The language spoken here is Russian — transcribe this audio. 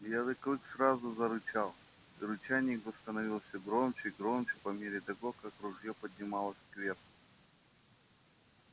белый клык сразу же зарычал и рычание его становилось всё громче и громче по мере того как ружьё поднималось кверху